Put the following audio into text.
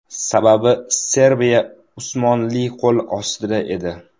Sababi, Serbiya Usmonli qo‘l ostida edi.